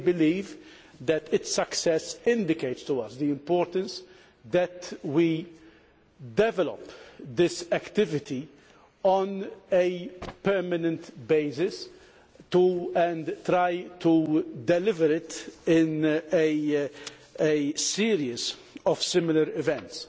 We believe that its success indicates to us the importance of developing this activity on a permanent basis to try to deliver it in a series of similar events.